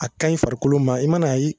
A kanɲi farikolo ma i man'a ye